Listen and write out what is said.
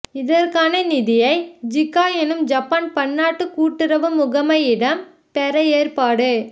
இதற்கான நிதியை ஜிக்கா எனும் ஜப்பான் பன்னாட்டு கூட்டுறவு முகமையிடம் பெற ஏற்பாடு